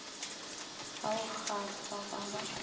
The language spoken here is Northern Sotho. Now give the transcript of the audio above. ba go kgwahla ba ba